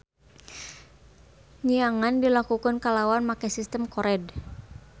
Nyiangan dilakukeun kalawan make sistem kored.